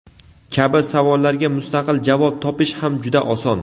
kabi savollarga mustaqil javob topish ham juda oson.